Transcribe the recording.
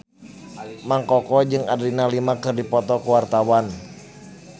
Mang Koko jeung Adriana Lima keur dipoto ku wartawan